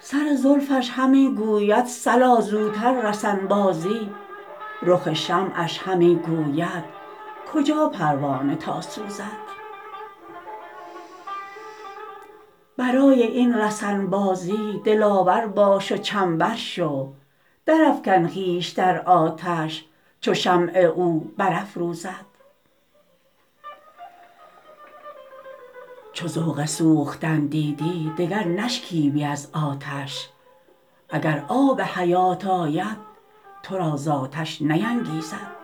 سر زلفش همی گوید صلا زوتر رسن بازی رخ شمعش همی گوید کجا پروانه تا سوزد برای این رسن بازی دلاور باش و چنبر شو درافکن خویش در آتش چو شمع او برافروزد چو ذوق سوختن دیدی دگر نشکیبی از آتش اگر آب حیات آید تو را ز آتش نینگیزد